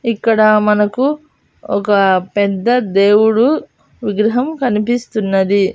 ఇక్కడ మనకు ఒక పెద్ద దేవుడు విగ్రహం కనిపిస్తున్నది.